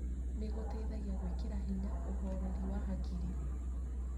nĩ gũteithagia gwĩkĩra hinya ũhoreri wa hakiri.